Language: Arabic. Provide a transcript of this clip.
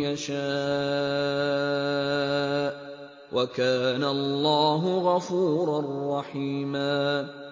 يَشَاءُ ۚ وَكَانَ اللَّهُ غَفُورًا رَّحِيمًا